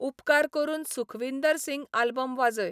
उपकार करून सुखवींदर सिंग आल्बम वाजय